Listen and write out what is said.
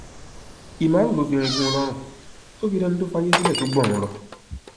ìmàrú ló fi irin gún un lọrùn tó fi dẹni tó fàyè sílẹ tó gbọrun lọ